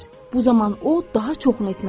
Bu zaman o daha çoxunu etmək istəyir.